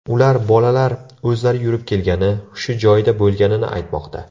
Ular bolalar o‘zlari yurib kelgani, hushi joyida bo‘lganini aytmoqda.